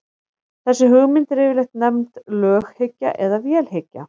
þessi hugmynd er yfirleitt nefnd löghyggja eða vélhyggja